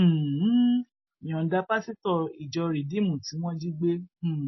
um yọǹda pásítọ ìjọ rìdíìmù tí wọn jí gbé um